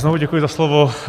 Znovu děkuji za slovo.